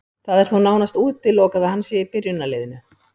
Það er þó nánast útilokað að hann sé í byrjunarliðinu.